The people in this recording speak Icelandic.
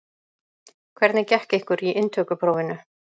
Hvernig gekk ykkur í inntökuprófinu?